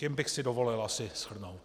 Tím bych si dovolil asi skončit.